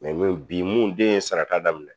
Mɛ nu bi mun den ye sarata daminɛ